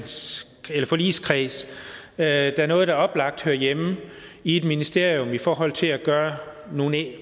su forligskreds der er noget der oplagt hører hjemme i et ministerium i forhold til at gøre nogle